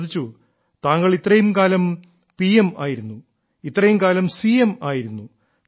അവർ ചോദിച്ചു താങ്കൾ ഇത്രയും കാലം പ്രധാനമന്ത്രി ആയിരുന്നു ഇത്രയും കാലം മുഖ്യമന്ത്രി ആയിരുന്നു